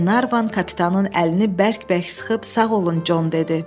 Glenarvan kapitanın əlini bərk-bərk sıxıb, sağ olun, Con, dedi.